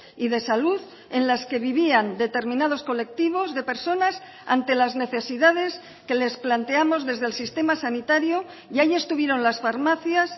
y de salud en las que vivían determinados colectivos de personas ante las necesidades que les planteamos desde el sistema sanitario y ahí estuvieron las farmacias